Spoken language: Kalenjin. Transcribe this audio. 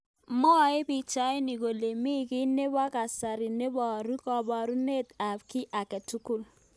Mwae pichainik kole mi ki nebo kasari neborye kaborunet ab ki age tugul.